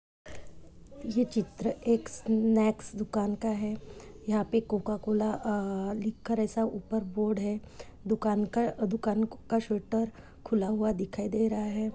ये चित्र एक स्नैक्स दुकान का है यहाँ पे कोका कोला अअ लिखकर एसा ऊपर बोर्ड है दुकान का दुकान का शटर खुला हुवा दिखाई दे रहा है।